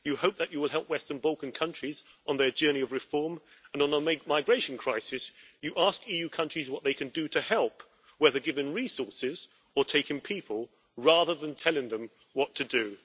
We hope that you will help Western Balkan countries on their journey of reform and, on the migration crisis, that you will ask EU countries what they can do to help whether giving resources or taking people rather than telling them what to do.